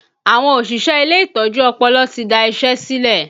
Àwọn òṣìṣẹ́ ilé ìtọ́jú ọpọlọ ti da isẹ silẹ